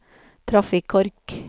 trafikkork